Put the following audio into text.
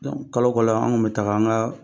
kalo kala an kun bɛ taaga an ka